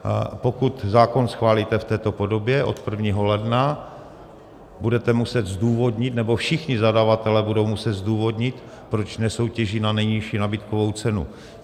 Pokud zákon schválíte v této podobě od 1. ledna, budete muset zdůvodnit, nebo všichni zadavatelé budou muset zdůvodnit, proč nesoutěží na nejnižší nabídkovou cenu.